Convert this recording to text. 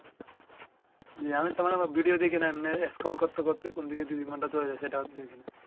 জ্বি আমি তো মানে ভিডিও দেখি না এমনে scroll করতে করতে কোন দুই ঘন্টা চলে যায় সেটা দেখি না